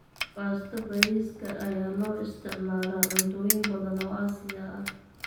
Baasto bariiska ayaa loo isticmaalaa cuntooyin badan oo Aasiya ah.